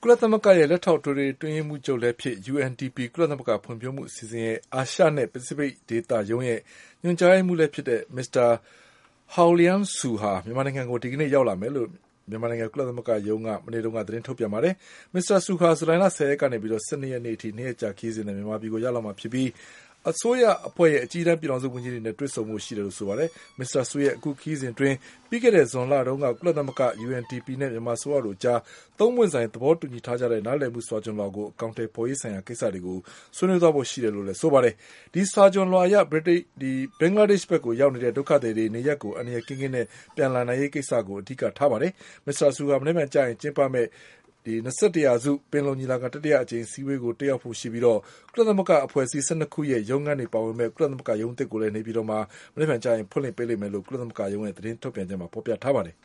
လသမဂ္ဂရဲ့လက်ထောက်ထွေထွေအတွင်းရေးမှူးချုပ်လည်းဖြစ် UNDP ကုလသမဂ္ဂဖွံ့ဖြိုးမှုအစီအစဉ်ရဲ့ အာရှနဲ့ပစိဖိတ် ဒေသရုံးရဲ့ညွှန်ကြားရေးမှုးလည်းဖြစ်တဲ့ Mr. Haoliang Xu ဟာ မြန်မာနိုင်ငံကို ဒီကနေ့ရောက်လာမယ်လို့ မြန်မာနိုင်ငံ ကုလသမဂ္ဂရုံးက မနေ့ကသတင်းထုတ်ပြန်ပါတယ်။ Mr.Xuဟာ ဇူလိုင်လ၁၀ရက်ကနေ ၁၂ရက်နေ့အထိ ၂ရက်ကြာခရီး စဉ်နဲ့ မြန်မာပြည်ကိုလာရောက်မှာဖြစ်ပြီး အစိုးရအဖွဲ့ရဲ့အကြီးတန်းပြည်ထောင်စုဝန်ကြီးတွေနဲ့တွေဆုံဖို့ရှိတယ်လို့ဆိုပါ တယ်။ Mr.Xuရဲ့ အခုခရီးစဉ်အတွင်း ပြီးခဲ့တဲ့ဇွန်လတုန်းက ကုလသမဂ္ဂ၊ UNDP နဲ့မြန်မာအစိုးရတို့အကြားသုံးပွင့်ဆိုင် သဘောတူညီထားတဲ့ နားလည်မှုစာခွျှန်လွှာကို အကောင်အထည်ဖေါ်ရေးဆိုင်ရာကိစ္စတွေကို ဆွေးနွေးသွားဖို့ရှိတယ်လို့ လည်း ဆိုပါတယ်။ ဒီစာခွျှန်လွှာအရ ဘင်္ဂလားဒေ့ချ်ကိုရောက်နေတဲ့ ဒုက္ခသည်တွေ နေရပ်ကို အန္တရာယ်ကင်းကင်းနဲ့ပြန် လာနိုင် ရေးကိစ္စကိုအဓိကထားပါတယ်။ Mr.Xuဟာ မနက်ဖြန်ကျင်းပမယ့် ၂၁ရာစု ပင်လုံညီလာခံတတိယအကြိမ်အစည်း အဝေး ကိုလည်းတက်ရောက်ဖို့ရှိပြီး ကုလသမဂ္ဂအဖွဲ့အစည်း၁၂ခုရဲ့ရုံးခန်းတွေပါဝင်မယ့် ကုလသမဂ္ဂရုံးအသစ်ကို နေ ပြည်တော် မှာ မနက်ဖြန်ကျရင် ဖွင့်လှစ်ပေးလိမ့်မယ်လို့လည်း ကုလသမဂ္ဂရုံးရဲ့သတင်းထုတ်ပြန်ချက်မှာဖေါ်ပြထားပါ တယ်